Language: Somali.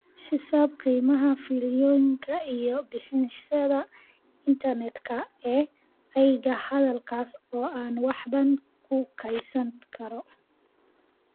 xisaabi qiimaha fiilooyinka iyo bixiyeyaasha internetka ee aaggayga halkaas oo aan wax badan ku kaydsan karo